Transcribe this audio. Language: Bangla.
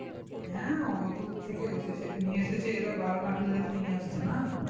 হ্যাঁ ওতো দূর থেকে এসেছে নিয়ে এসেছে এরা ভালো না খেললে তো নিয়ে আসতো না।